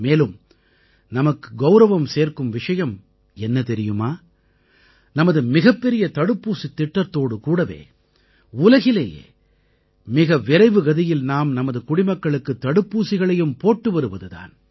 மேலும் நமக்கு கௌரவம் சேர்க்கும் விஷயம் என்ன தெரியுமா நமது மிகப்பெரிய தடுப்பூசித் திட்டத்தோடு கூடவே உலகிலேயே மிக விரைவுகதியில் நாம் நமது குடிமக்களுக்குத் தடுப்பூசிகளையும் போட்டு வருவது தான்